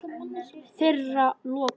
Þeirra lokað.